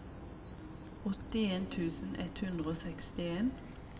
åttien tusen ett hundre og sekstien